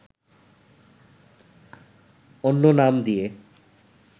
অন্য নাম দিয়ে